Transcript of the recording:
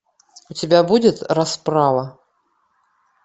у тебя будет расправа